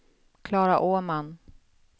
Klara Åman